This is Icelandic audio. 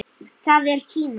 Það er Kína.